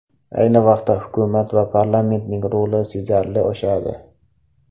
Ayni vaqtda, hukumat va parlamentning roli sezilarli oshadi.